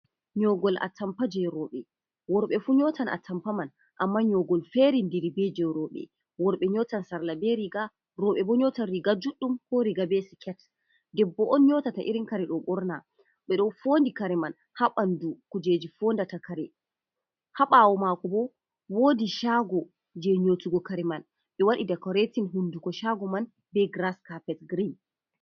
Nyoogol atampa jey rowɓe, worɓe fu nyootan atampa man, amma nyoogol feerindiri be jey rowɓe. Worɓe nyootan sarla be riiga, rowɓe bo nyootan riiga juɗɗum, ko riiga be siket. Debbo on nyootata irin kare ɗo ɓorna, ɓe ɗo foondi kare man haa ɓanndu kujeji foondata kare. Haa ɓaawo maako bo, woodi caago jey nyootugo kare man, ɓe waɗi dikoretin hunnduko caago man, be giras kapet girin.